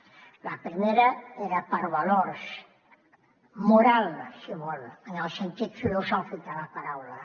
la primera era per valors morals si volen en el sentit filosòfic de la paraula